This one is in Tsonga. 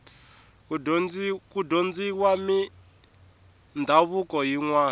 ku dyondziwa mindhavuko yinwani